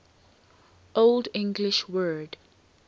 old english word